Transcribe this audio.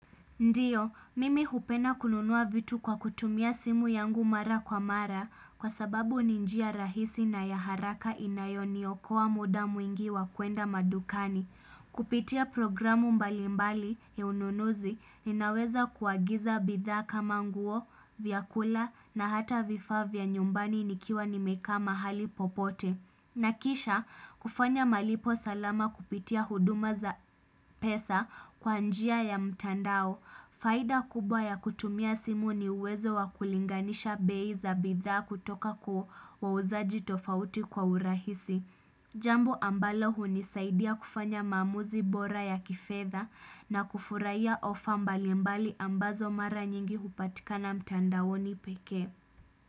Ndiyo, mimi hupenda kununua vitu kwa kutumia simu yangu mara kwa mara kwa sababu ninjia rahisi na yaharaka inayoni okoa muda mwingi wa kuenda madukani. Kupitia programu mbalimbali ya ununuzi ninaweza kuagiza bidha kama nguo, vyakula na hata vifaa vya nyumbani nikiwa nimeka mahali popote. Na kisha kufanya malipo salama kupitia huduma za pesa kwa njia ya mtandao. Faida kubwa ya kutumia simu ni uwezo wa kulinganisha bei za bidhaa kutoka kuo wa uzaji tofauti kwa urahisi. Jambo ambalo hunisaidia kufanya mamuzi bora ya kifedha na kufuraiya ofa mbali mbali ambazo mara nyingi upatikana mtandaoni peke.